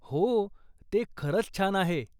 हो, ते खरंच छान आहे.